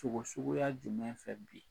Sogo suguya jumɛn fɛ bi?